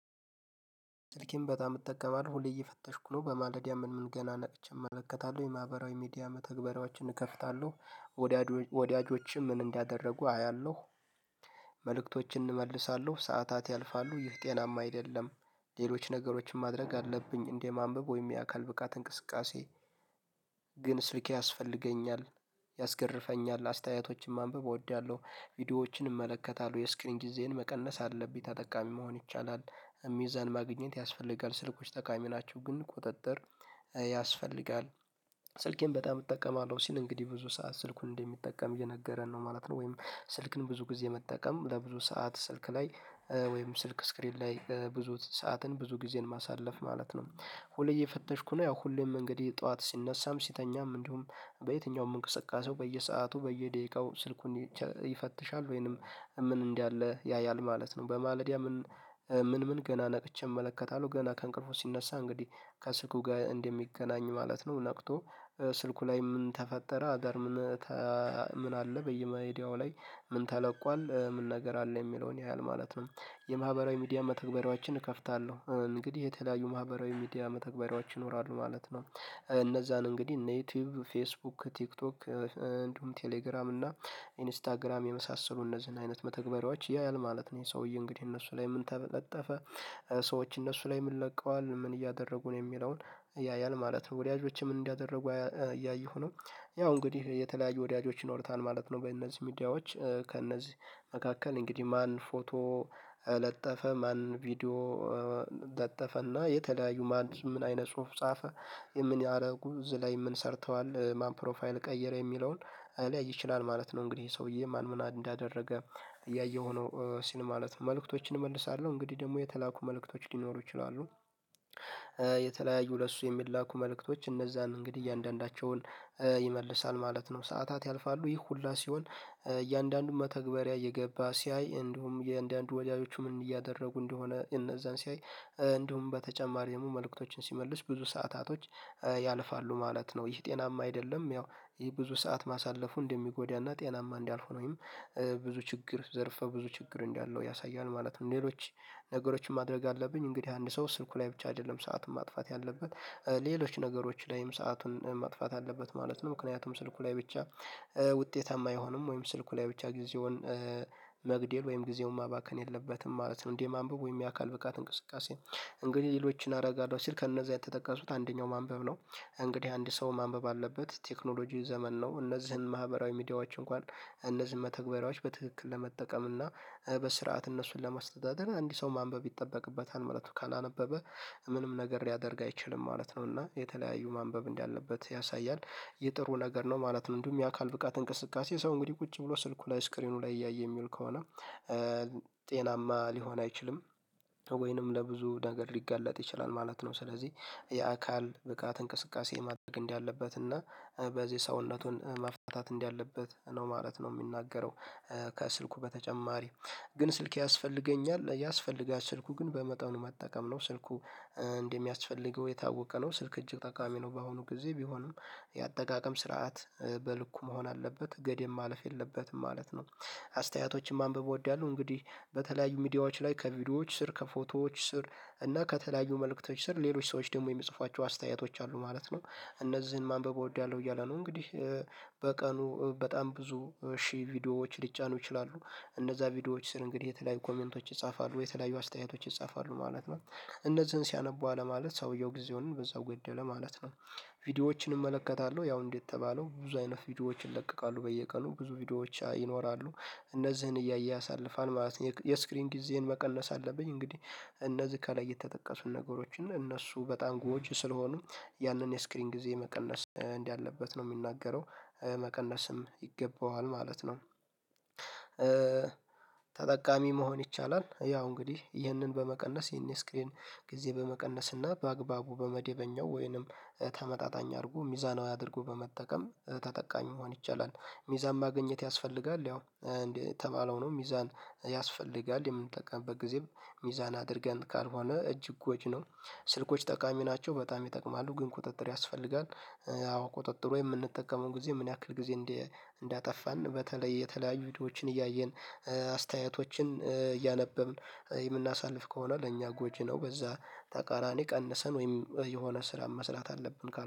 ስልኬን በጣም እጠቀማለሁ ሁሌ እየፈተሽኩ ነው በማደጊያ ምን ምን ገና ነቀች እመለከታለሁ የማህበራዊ ሚዲያ መተግበሪያዎችን እከፍታለሁ ወዳጆችም ምን እንዳደረጉ አያለሁ መልእክቶችን እመልሳለሁ ሰዓታት ያልፋሉ ይህ ጤናማ አይደለም። ሌሎች ነገሮችን ማድረግ አለብኝ እንደማንበብ ወይም የአካል ብቃት እንቅስቃሴ። ግን ስልኬ ያስፈልገኛል። ያስገርፈኛል አስተያየቶችን ማንበብ እወዳለሁ ቪዲዮዎችን እመለከታለሁ የስክሪን ጊዜን መቀነስ አለብኝ ተጠቃሚ መሆን ይቻላል። የሚዛን ማግኘት ያስፈልጋል ስልኮች ጠቃሚ ናቸው ግን ቁጥጥር ያስፈልጋል። ስልኬን በጣም እጠቀማለሁ ሲል እንግዲህ ብዙ ሰዓት ስልኩን እንደሚጠቀም እየነገረን ነው ማለት ነው። ወይም ስልክን ብዙ ጊዜ መጠቀም ለብዙ ሰዓት ስልክ ላይ ወይም ስልክ ስክሪን ላይ በብዙ ሰዓትን ብዙ ጊዜን ማሳለፍ ማለት ነው። ሁሌ የፈተሽኩ ነው ያው ሁሌም እንግዲህ ጠዋት ሲነሳም ሲተኛም እንደውም በየትኛውም እንቅስቃሴው በየሰአቱ በየደቂቃው ስልኩን ይፈትሻል ወይንም ምን እንዳለ ያያል ማለት ነው። በማለዲያ ምን ምን ምን ገና ነቅቼ እመለከታለሁ ገና ከእንቅልፉ ሲነሳ እንግዲህ ከስልኩ ጋር እንደሚገናኝ ማለት ነው ነቅቶ ስልኩ ላይ ምን ተፈጠረ አዳር ምን ምን አለ በየሚድያው ላይ ምን ተለቋል ምን ነገር አለ የሚለውን ያያል ማለት ነው። የማህበራዊ ሚዲያ መተግበሪያዎችን እከፍታለሁ እንግዲህ የተለያዩ ማህበራዊ ሚዲያ መተግበሪያዎች ይኖራሉ ማለት ነው። እነዛን እንግዲህ እነ ዩቲዩብ ፌስቡክ ቲክቶክ እንዲሁም ቴሌግራም እና ኢንስታግራም የመሳሰሉ እነዚህን አይነት መተግበሪያዎች ያያል ማለት ነው። ይሄ ሰውዬ እንግዲህ እነሱ ላይ ምን ተበለጠፈ ሰዎች እነሱ ላይ ምን ለቀዋል ምን እያደረጉ ነው የሚለውን ያያል ማለት ነው። ወዲያዎችም እንዲያደርጉ እያየሁ ነው ያው እንግዲህ የተለያዩ ወዳጆች ይኖርታል ማለት ነው። በእነዚህ ሚዲያዎች ከእነዚህ መካከል እንግዲህ ማን ፎቶ ለጠፈ ማን ቪዲዮ ለጠፈና የተለያዩ ማን ምን አይነ ጽሁፍ ጻፈ የምን ያደረጉ እዝ ላይ ምን ሰርተዋል ማን ፕሮፋይል ቀየረ የሚለውን ሊያይ ይችላል ማለት ነው። እንግዲህ ሰውዬ ማን ምን እንዳደረገ እያየሁ ነው ሲል ማለት ነው። መልእክቶችን እመልሳለሁ እንግዲህ ደግሞ የተላኩ መልእክቶች ሊኖሩ ይችላሉ። የተለያዩ ለሱ የሚላኩ መልእክቶች እነዛን እንግዲህ እያንዳንዳቸውን ይመልሳል ማለት ነው። ሰዓታት ያልፋሉ ይህ ሁሉ ሲሆን እያንዳንዱን መተግበሪያ እየገባ ሲያይ እንደውም የእንደአንዱ ወዳጆቹ ምን እያደረጉ እንደሆነ እነዛን ሲያይ እንደውም በተጨማሪ ደግሞ መልእክቶችን ሲመልስ ብዙ ሰዓታቶች ያልፋሉ ማለት ነው። ይህ ጤናማ አይደለም ያው ይህ ብዙ ሰዓት ማሳለፉ እንደሚጎዳና ጤናማ እንዳልሆነ ወይም ብዙ ችግር ዘርፈ ብዙ ችግር እንዳለው ያሳያል ማለት ነው። ሌሎች ነገሮችን ማድረግ አለብኝ እንግዲህ አንድ ሰው ስልኩ ላይ ብቻ አይደለም ሰዓትን ማጥፋት ያለበት ሌሎች ነገሮች ላይም ሰአቱን ማጥፋት አለበት ማለት ነው። ምክንያቱም ስልኩ ላይ ብቻ ውጤታማ አይሆንም ወይም ስልኩ ላይ ብቻ ጊዜውን መግደል ወይም ጊዜውን ማባከን የለበትም ማለት ነው። እንዴ የማንበቡ ወይም የአካል ብቃት እንቅስቃሴ እንግዲህ ሌሎችን አደረጋታለሁ ሲል ከእነዚህ የተጠቀሱት አንደኛው ማንበብ ነው። እንግዲህ አንድ ሰው ማንበብ አለበት ቴክኖሎጂን ዘመን ነው። እነዚህን ማህበራዊ ሚዲያዎች እንኳን እነዚህን መተግበሪያዎች በትክክል ለመጠቀም እና በስርዓት እነሱን ለማስተዳደር እንዲህ ሰው ማንበብ ይጠበቅበታል ማለት ነው። ካላነበበ ምንም ነገር ሊያደርግ አይችልም ማለት ነው። እና የተለያዩ ማንበብ እንዳለበት ያሳያል የጥሩ ነገር ነው ማለት ነው። እንዲሁም የአካል ብቃት እንቅስቃሴ ሰው እንግዲህ ቁጭ ብሎ ስልኩ ላይ ስክሪኑ ላይ እያየ የሚል ከሆነ ጤናማ ሊሆን አይችልም። ወይንም ለብዙ ነገር ሊጋለጥ ይችላል ማለት ነው። ስለዚህ የአካል ብቃት እንቅስቃሴ ማድረግ እንዳለበት እና በዚህ ሰውነቱን ማፍታታት እንዳለበት ነው ማለት ነው። የሚናገረው ከስልኩ በተጨማሪ ግን ስልኬ ያስፈልገኛል ያስፈልጋል ስልኩ ግን በመጠኑ መጠቀም ነው ስልኩ እንደሚያስፈልገው የታወቀ ነው። ስልክ እጅግ ጠቃሚ ነው። በአሁኑ ጊዜ ቢሆንም የአጠቃቀም ስርዓት በልኩ መሆን አለበት ገደብ ማለፍ የለበትም ማለት ነው። አስተያየቶችን ማንበብ እወዳለሁ። እንግዲህ በተለያዩ ሚዲያዎች ላይ ከቪዲዮዎች ስር ከፎቶዎች ስር እና ከተለያዩ መልእክቶች ስር ሌሎች ሰዎች ደግሞ የሚጽፏቸው አስተያየቶች አሉ ማለት ነው። እነዚህን ማንበብ እወዳለሁ እያለ ነው። እንግዲህ በቀኑ በጣም ብዙ እሺ ቪዲዮዎች ሊጫኑ ይችላሉ። እንደዛ ቪዲዮዎች ስር እንግዲህ የተለያዩ ኮሜንቶች ይጻፋሉ ወይ የተለያዩ አስተያየቶች ይጻፋሉ ማለት ነው። እነዚህን ሲያነቡ አለ ማለት ሰውየው ጊዜውን በዛው ገደለ ማለት ነው። ቪዲዮዎችን እመለከታለሁ ያው እንዴት የተባለው ብዙ አይነት ቪዲዮዎችን ይለቀቃሉ በየቀኑ ብዙ ቪዲዮዎች ይኖራሉ። እነዚህን እያየ ያሳልፋል ማለት ነው። የስክሪን ጊዜን መቀለስ አለብኝ እንግዲህ እነዚህ ከላይ የተጠቀሱ ነገሮችን እነሱ በጣም ጎጅ ስለሆኑ ያንን የስክሪን ጊዜ መቀነስ እንዳለበት ነው የሚናገረው። መቀነስም ይገባዋል ማለት ነው። ተጠቃሚ መሆን ይቻላል። ያው እንግዲህ ይህንን በመቀነስ ይህን ስክሪን ጊዜ በመቀነስ እና በአግባቡ በመደበኛው ወይንም ተመጣጣኝ አድርጎ ሚዛናዊ አድርጎ በመጠቀም ተጠቃሚ መሆን ይቻላል። ሚዛን ማግኘት ያስፈልጋል። ያው እንዴ የተባለው ነው ሚዛን ያስፈልጋል የምንጠቀምበት ጊዜም ሚዛን አድርገን ካልሆነ እጅግ ጎጅ ነው። ስልኮች ጠቃሚ ናቸው በጣም ይጠቅማሉ ግን ቁጥጥር ያስፈልጋል። አዎ ቁጥጥር የምንጠቀመው ጊዜ ምን ያክል ጊዜ እንዳጠፋን በተለይ የተለያዩ ቪዲዮዎችን እያየን አስተያየቶችን እያነበብን የምናሳልፍ ከሆነ ለእኛ ጎጂ ነው። በዛ ተቃራኒ ቀንሰን ወይም የሆነ ስራ መስራት አለብን ካል